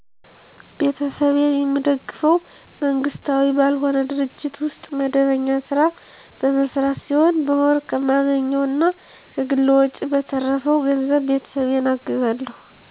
ቤተሰቤን የምደግፈው መንግስታዊ ባልሆነ ድርጅት ውስጥ መደበኛ ስራ በመሰራት ሲሆን በወር ከማገኘው እና ከግል ወጨ በተረፈው ገንዘብ ቤተሰቤን አግዛለሁ።